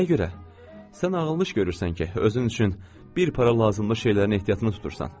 Sən ağıllı görürsən ki, özün üçün bir para lazımlı şeylərin ehtiyatını tutursan.